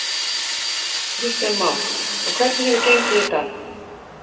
Kristján Már: Og hvernig hefur gengið í dag?